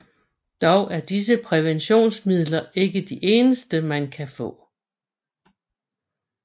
Dog er disse præventionsmidler ikke de eneste man kan få